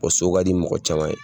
so ka di mɔgɔ caman ye.